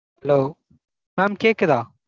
hello mam கேக்குதா?